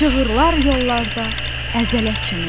Çığırlar yollarda əzələ kimi.